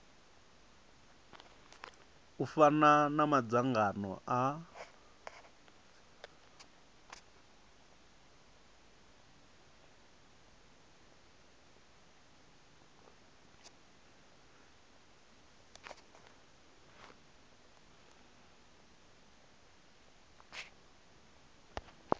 u fana na madzangano a